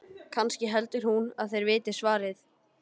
Kannski heldur hún að þeir viti svarið?